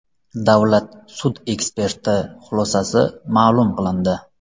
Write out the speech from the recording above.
Davlat sud eksperti xulosasi ma’lum qilindi.